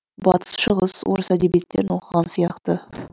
батыс шығыс орыс әдебиеттерін оқыған сияқты